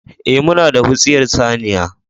Eh, muna da wutsiyar saniya